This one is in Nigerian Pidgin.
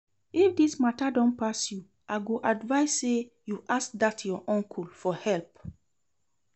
If dis matter don pass you, I go advise say you ask dat your uncle for help